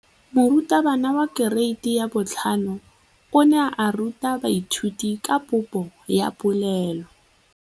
Moratabana wa kereiti ya 5 o ne a ruta baithuti ka popô ya polelô.